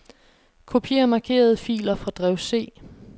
Kopier markerede filer fra drev C.